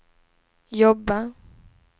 jobba